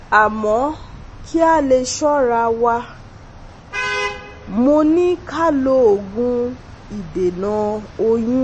Amọ ki a le ṣọ́ra wa, mo ni ka lo ogun idena oyun